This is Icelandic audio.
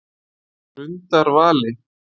Grundarvali